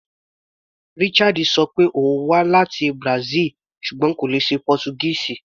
Richard ṣọ pé òun wá láti Brazil ṣùgbọ́n kò lè ṣọ Pọ́túgíìsì.